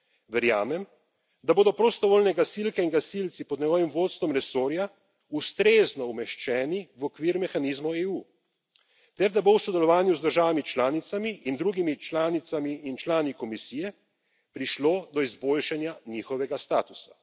Verjamem, da bodo prostovoljne gasilke in gasilci pod njegovim vodstvom resorja ustrezno umeščeni v okvir mehanizmov EU ter da bo v sodelovanju z državami članicami in drugimi članicami in člani Komisije prišlo do izboljšanja njihovega statusa.